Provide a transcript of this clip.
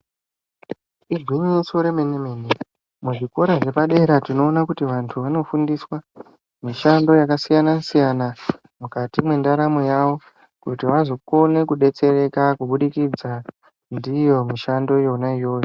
Igwinyiso remene mene muzvikora zvepadera tinoona kuti vantu vanofundiswa mishando yakasiyana siyana mukati mendaramo yawo kuti vazokona kudetsereka kuburikidza ndiyo mishando yona iyoyo.